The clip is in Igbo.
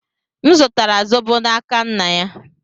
M zụtara zobo n'aka nna ya.